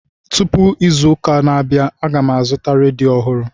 Tụpụ izu ụka na-abịa, aga m azụta redio ọhụrụ